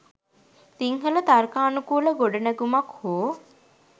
සිංහල තර්කානුකූල ගොඩනැගුමක් හෝ